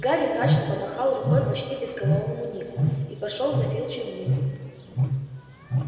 гарри мрачно помахал рукой почти безголовому нику и пошёл за филчем вниз